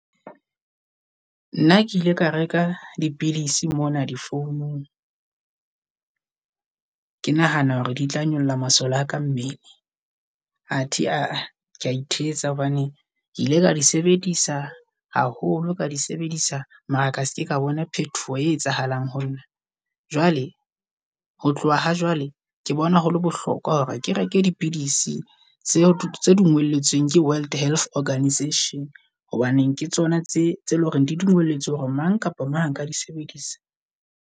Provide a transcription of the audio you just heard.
Nna ke ile ka reka dipidisi mona difounung. Ke nahana hore ditla nyolla masole a ka mmele athe a kea ithetsa hobane ke ile ka di sebedisa haholo ka di sebedisa mara ka seke ka bona phetoho e etsahalang honna. Jwale ho tloha ha jwale, ke bone haholo bohlokwa hore ke reke dipidisi tse di ngolletsweng ke World Health Organisation. Hobaneng ke tsona tse tse leng hore di dumeletswe hore mang kapa a ka di sebedisa.